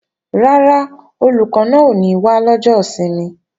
Rárá, Olùkọ́ náà ò ní wá lọ́jọ́ ìsinmi